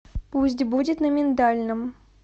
пусть будет на миндальном